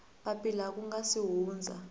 papila ku nga si hundza